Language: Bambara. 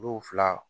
Du fila